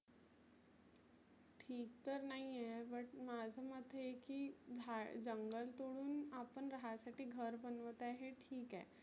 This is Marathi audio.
ठीक तर नाहिए but माझं मत हे आहे की झाड जंगल तोडुन आपण रहायासाठी घर बनवत आहे हे ठिक आहे.